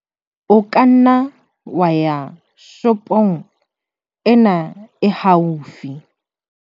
o ka nna wa ya shopong ena e haufi